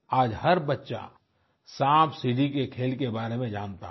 आज हर बच्चा सांपसीढ़ी के खेल के बारे में जानता है